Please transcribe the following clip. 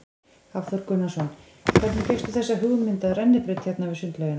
Hafþór Gunnarsson: Hvernig fékkstu þessa hugmynd af rennibraut hérna við sundlaugina?